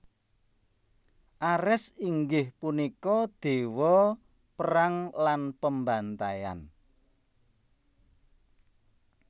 Ares inggih punika déwa perang lan pembantaian